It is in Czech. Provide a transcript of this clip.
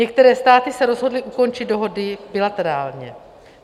Některé státy se rozhodly ukončit dohodu bilaterálně.